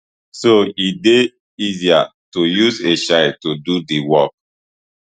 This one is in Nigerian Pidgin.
so e dey easier to use a child to do di work